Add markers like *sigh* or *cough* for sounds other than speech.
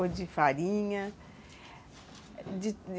Ou de farinha. *unintelligible*